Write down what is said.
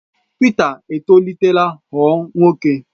Pita etolitela ghọọ nwoke.